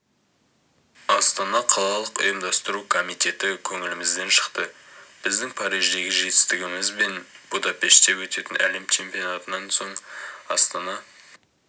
астана қалалық ұйымдастыру комитеті көңілімізден шықты біздің париждегі жетістігіміз бен будапеште өтетін әлем чемпионатынан соң астана